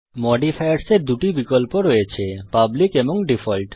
modifiers এ দুটি বিকল্প রয়েছে পাবলিক এবং ডিফল্ট